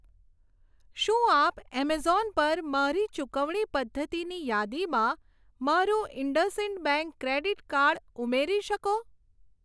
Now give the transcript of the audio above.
શું આપ એમેઝોન પર મારી ચુકવણી પદ્ધતિની યાદીમાં મારું ઇન્ડસઈન્ડ બેંક ક્રેડીટ કાર્ડ ઉમેરી શકો?